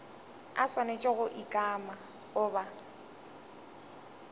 a swanetše go ikana goba